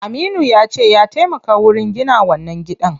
Aminu yace ya taimaka wurin gina wannan gidan.